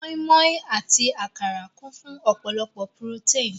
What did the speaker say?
Mọ́í-mọ́í àti àkàrà kún fún ọ̀pọ̀lọpọ̀ purótéìn.